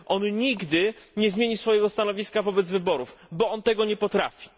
On nigdy nie zmieni swojego stanowiska wobec wyborów, bo on tego nie potrafi.